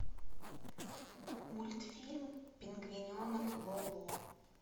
мультфильм пингвиненок лоло